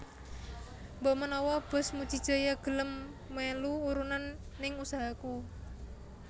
Mbok menawa bos Muji Jaya gelem melu urunan ning usahaku